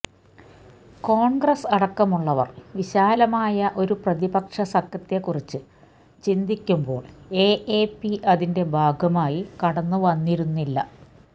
കോണ്ഗ്രസ് അടക്കമുള്ളവര് വിശാലമായ ഒരു പ്രതിപക്ഷ സഖ്യത്തെക്കുറിച്ച് ചിന്തിക്കുമ്പോള് എഎപി അതിന്റെ ഭാഗമായി കടന്നുവന്നിരുന്നില്ല